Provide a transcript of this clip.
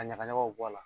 A ɲagaɲagaw bɔ a la